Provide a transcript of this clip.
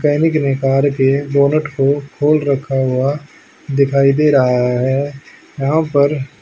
सैनिक ने कार के बोनट को खोल रखा हुआ दिखाई दे रहा है यहां पर--